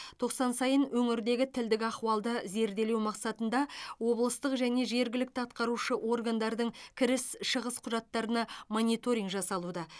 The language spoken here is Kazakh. тоқсан сайын өңірдегі тілдік ахуалды зерделеу мақсатында облыстық және жергілікті атқарушы органдардың кіріс шығыс құжаттарына мониторинг жасалуда